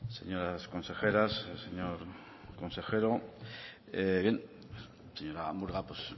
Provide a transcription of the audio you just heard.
señoras consejeras señor consejero bien señora murga pues